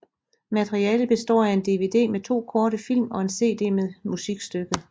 Materialet består af en dvd med to korte film og en cd med musikstykket